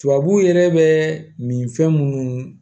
Tubabu yɛrɛ bɛ min fɛn minnu